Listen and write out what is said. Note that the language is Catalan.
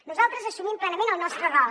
nosaltres assumim plenament el nostre rol